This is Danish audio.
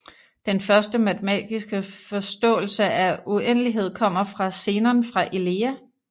Den første matematiske forståelse af uendelighed kommer fra Zenon fra Elea